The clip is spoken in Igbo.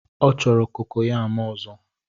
Ọ chọrọ kokoyam ozo